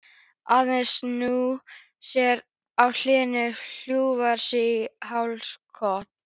Aðeins snúa sér á hliðina og hjúfra sig í hálsakot.